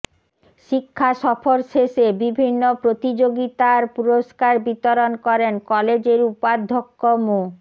শিক্ষাসফর শেষে বিভিন্ন প্রতিযোগিতার পুরস্কার বিতরণ করেন কলেজের উপাধ্যক্ষ মো